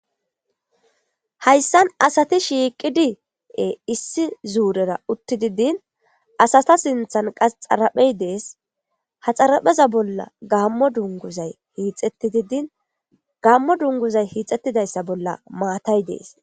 Hayssan asathi shiiqidi issi zuurera uththidi din asatha sinthan qa xaraphee des; ha xarapheza bolla gaammo dungguzzay hiixxeththidi din gaammo dungguzay hiitheththizayssa bolla maathay des.